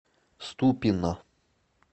ступино